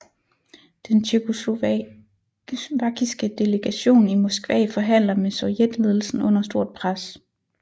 Den tjekkoslovakiske delegation i Moskva forhandler med sovjetledelsen under stort pres